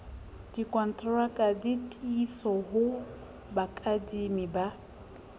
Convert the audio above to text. dikontraka ditiiso ho bakadimi ba